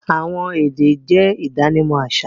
Awọn èdè jẹ̀ idànímọ̀ aṣa